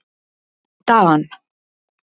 Dan